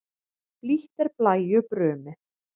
Blítt er blæju brumið.